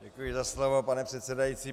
Děkuji za slovo, pane předsedající.